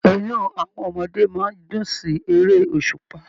Inú àwọn ọmọdé máa n dùn sí èrè òṣùpá.